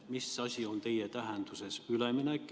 Mis asi on teie tähenduses üleminek?